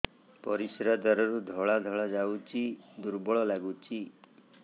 ପରିଶ୍ରା ଦ୍ୱାର ରୁ ଧଳା ଧଳା ଯାଉଚି ଦୁର୍ବଳ ଲାଗୁଚି